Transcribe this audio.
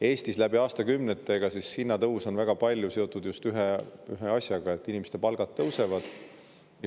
Eestis on läbi aastakümnete aga hinnatõus olnud väga palju seotud just ühe asjaga: inimeste palgad tõusevad.